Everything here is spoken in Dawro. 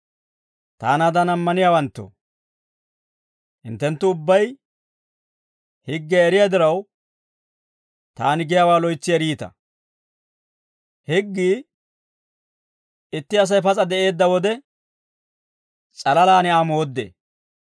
Taanaadan ammaniyaawanttoo, hinttenttu ubbay higgiyaa eriyaa diraw, taani giyaawaa loytsi eriita; higgii itti Asay pas'a de'eedda wode s'alalaan Aa mooddee.